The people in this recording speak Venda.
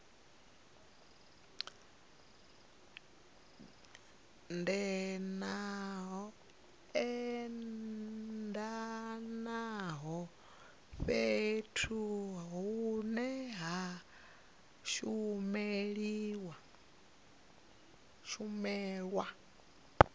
edanaho fhethu hune ha shumelwa